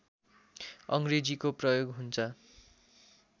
अङ्ग्रेजीको प्रयोग हुन्छ